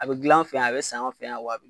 A bɛ gilan an fɛ yan a bɛ san fɛ yan wa a